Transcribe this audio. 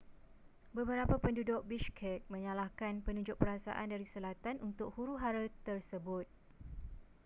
beberapa penduduk bishkek menyalahkan penunjuk perasaan dari selatan untuk huru-hara tersebut